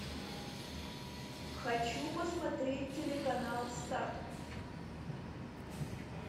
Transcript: хочу посмотреть телеканал старт